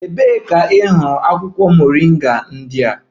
Ebee ka ị hụrụ akwụkwọ moringa ndị a?